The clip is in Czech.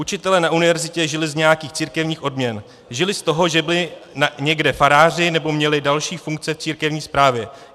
Učitelé na univerzitě žili z nějakých církevních odměn, žili z toho, že byli někde faráři nebo měli další funkce v církevní správě.